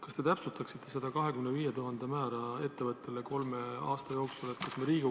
Kas te täpsustaksite seda 25 000 euro määra, mis ettevõttele kolme aasta kohta antakse?